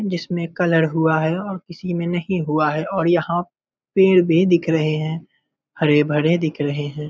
जिसमें कलर हुआ है और किसी में नहीं हुआ है और यहाँ पेड़ भी दिख रहे हैं हरे-भरे दिख रहे हैं।